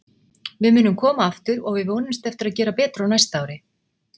Við munum koma aftur og við vonumst eftir að gera betur á næsta ári.